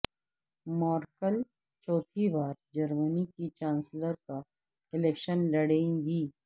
مورکل چوتھی بار جرمنی کی چانسلر کا الیکشن لڑیں گی